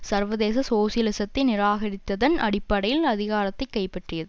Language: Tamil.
சர்வதேச சோசலிசத்தை நிராகரித்ததன் அடிப்படையில் அதிகாரத்தை கைப்பற்றியது